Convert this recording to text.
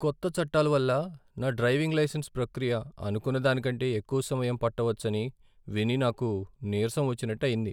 కొత్త చట్టాల వల్ల నా డ్రైవింగ్ లైసెన్స్ ప్రక్రియ అనుకున్న దానికంటే ఎక్కువ సమయం పట్టవచ్చని విని నాకు నీరసం వచ్చినట్టు అయింది.